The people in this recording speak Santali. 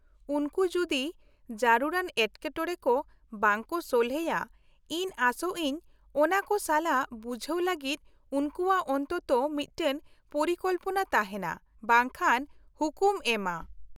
-ᱩᱱᱠᱩ ᱡᱩᱫᱤ ᱡᱟᱹᱨᱩᱲᱟᱱ ᱮᱴᱠᱮᱴᱚᱬᱮ ᱠᱚ ᱵᱟᱝ ᱠᱚ ᱥᱚᱞᱦᱮᱭᱟ, ᱤᱧ ᱟᱥᱟ ᱭᱟᱹᱧ ᱚᱱᱟ ᱠᱚ ᱥᱟᱞᱟᱜ ᱵᱩᱡᱷᱟᱹᱣ ᱞᱟᱹᱜᱤᱫ ᱩᱱᱠᱩᱣᱟᱜ ᱚᱱᱛᱚᱛᱚ ᱢᱤᱫᱴᱟᱝ ᱯᱚᱨᱤᱠᱚᱞᱯᱚᱱᱟ ᱛᱟᱦᱮᱱᱟ, ᱵᱟᱝᱠᱷᱟᱱ ᱦᱩᱠᱩᱢ ᱮᱢᱼᱟ ᱾